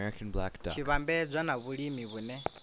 tshi vhambedzwa na vhulimi vhune